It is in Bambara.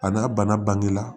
A n'a bana bange la